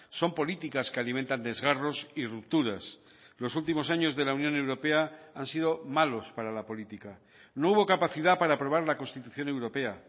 son políticas que alimentan desgarros y rupturas los últimos años de la unión europea han sido malos para la política no hubo capacidad para aprobar la constitución europea